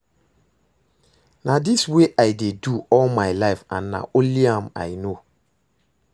Na dis wey I dey do all my life and na only am I no